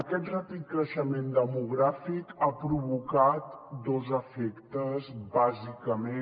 aquest ràpid creixement demogràfic ha provocat dos efectes bàsicament